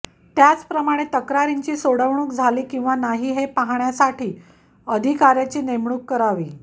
त्याचप्रमाणे तक्रारींची सोडवणूक झाली किंवा नाही हे पाहण्यासाठी अधिकाऱयाची नेमणूक करावी